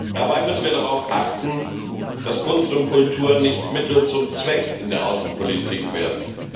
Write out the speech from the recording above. Dabei müssen wir darauf achten, dass Kunst und Kultur nicht Mittel zum Zweck in der Außenpolitik werden.